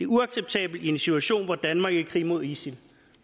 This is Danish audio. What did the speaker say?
uacceptabelt i en situation hvor danmark er i krig mod isil